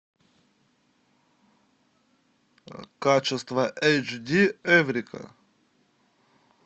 качество эйч ди эврика